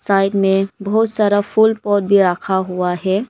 Side में बहुत सारा फुल पोट भी रखा हुआ है।